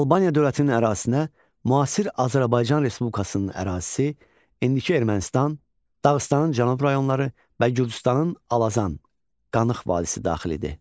Albaniya dövlətinin ərazisinə müasir Azərbaycan Respublikasının ərazisi, indiki Ermənistan, Dağıstanın cənub rayonları və Gürcüstanın Alazan, Qanıx vadisi daxil idi.